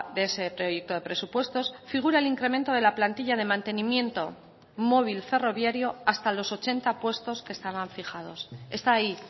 de ese proyecto de presupuestos figura el incremento de la plantilla de mantenimiento móvil ferroviario hasta los ochenta puestos que estaban fijados está ahí